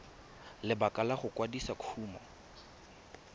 lebaka la go kwadisa kumo